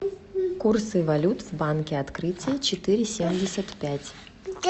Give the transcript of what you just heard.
курсы валют в банке открытие четыре семьдесят пять